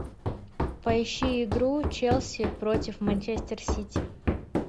поищи игру челси против манчестер сити